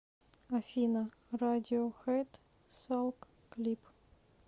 афина радиохэд салк клип